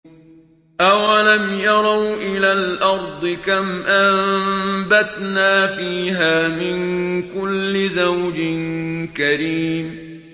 أَوَلَمْ يَرَوْا إِلَى الْأَرْضِ كَمْ أَنبَتْنَا فِيهَا مِن كُلِّ زَوْجٍ كَرِيمٍ